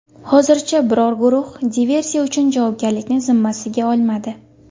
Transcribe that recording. Hozircha biror guruh diversiya uchun javobgarlikni zimmasiga olmadi.